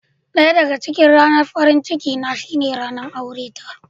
Daya daga cikin ranar farin ciki na shine ranan aure ta.